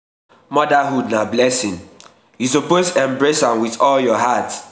motherhood na blessing you suppose embrace am suppose embrace am wit all your heart.